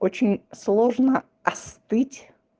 очень сложно остыть